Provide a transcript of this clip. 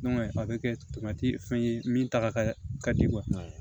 a bɛ kɛ fɛn ye min ta ka di ye